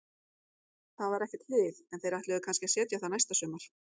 Það var ekkert hlið, en þeir ætluðu kannski að setja það næsta sumar.